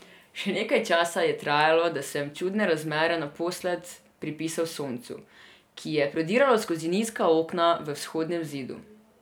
Še nekaj časa je trajalo, da sem čudne razmere naposled pripisal soncu, ki je prodiralo skozi nizka okna v vzhodnem zidu.